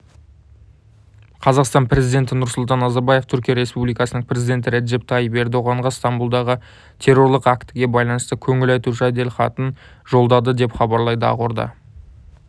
қазақстан президенті нұрсұлтан назарбаев түркия республикасының президенті реджеп тайип ердоғанға стамбұлдағы террорлық актіге байланысты көңіл айту жеделхатын жолдады деп хабарлайды ақорда